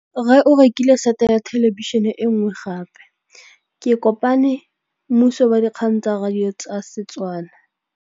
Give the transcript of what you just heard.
Rre o rekile sete ya thêlêbišênê e nngwe gape. Ke kopane mmuisi w dikgang tsa radio tsa Setswana.